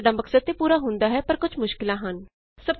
ਇਸ ਨਾਲ ਸਾਡਾ ਮਕਸਦ ਤੇ ਪੂਰਾ ਹੁੰਦਾ ਹੈ ਪਰ ਕੁਝ ਮੁਸ਼ਕਿਲਾਂ ਹਨ